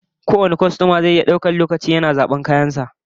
Kowane kwastoma zai iya daukan lokaci yana zaban kayan sa babu takura